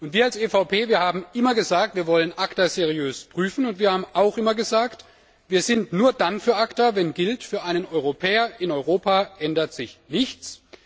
Wir als EVP haben immer gesagt, wir wollen ACTA seriös prüfen, und wir haben auch immer gesagt, wir sind nur dann für ACTA, wenn gilt, für einen Europäer in Europa ändert sich nichts.